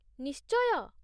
ନିଶ୍ଚୟ!